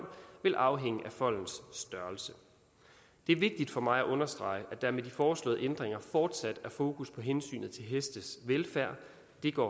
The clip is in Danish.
vil afhænge af foldens størrelse det er vigtigt for mig at understrege at der med de foreslåede ændringer fortsat er fokus på hensynet til hestes velfærd det går